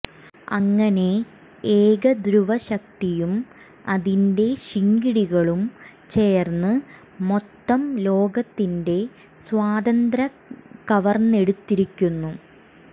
അങ്ങനെ ഏകധ്രുവ ശക്തിയും അതിന്റെ ശിങ്കിടികളും ചേര്ന്ന് മൊത്തം ലോകത്തിന്റെ സ്വാതന്ത്ര്യം കവര്ന്നെടുത്തിരിക്കുന്നു